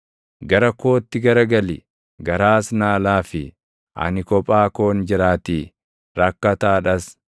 Gara kootti garagali; garaas naa laafi; ani kophaa koon jiraatii; rakkataadhas.